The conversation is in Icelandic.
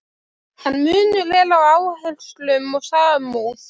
En munur er á áherslum og samúð.